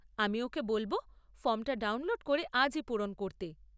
আমি ওকে বলব ফর্ম টা ডাউনলোড করে আজই পূরণ করতে।